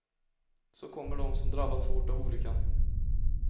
Så kommer de som drabbats hårt av olyckan.